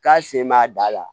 K'a sen b'a da la